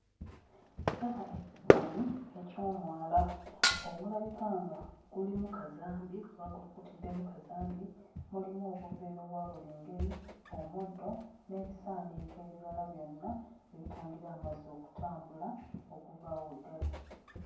Ndaba ekifaananyi eky'omwala ogulabika nga gulimu kazambi gwakulukutiddemu kazambi, mulimu obuveera obwa buli ngeri, omuddo, n'ebisaaniiko ebirala byonna ebitangira amazzi okutambula okuva awo we gali.